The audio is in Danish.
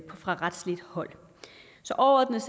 fra retsligt hold så overordnet